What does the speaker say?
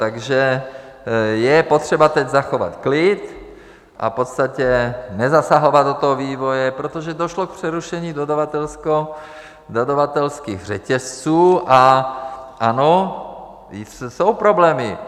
Takže je potřeba teď zachovat klid a v podstatě nezasahovat do toho vývoje, protože došlo k přerušení dodavatelských řetězců a ano, jsou problémy.